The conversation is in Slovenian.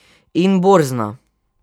In borzna.